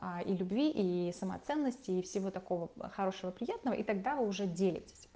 любви и самоценности и всего такого хорошего и приятного и тогда уже делелятся